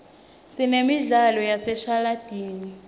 sinemidlalo yaseshashalatini